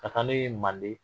Ka ne ye manden.